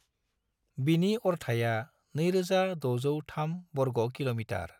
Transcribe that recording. बिनि अरथाइया 2,603 वर्ग किल'मीटार।